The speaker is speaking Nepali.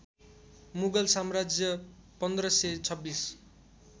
मुगल साम्राज्य १५२६